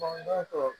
Bandon tɔ